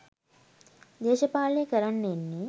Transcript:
දේශපාලනය කරන්න එන්නේ